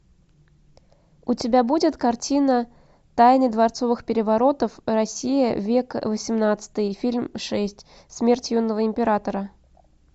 у тебя будет картина тайны дворцовых переворотов россия век восемнадцатый фильм шесть смерть юного императора